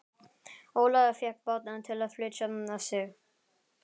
Ólafur fékk bát til að flytja sig.